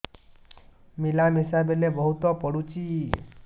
ମିଳାମିଶା ବେଳେ ବହୁତ ପୁଡୁଚି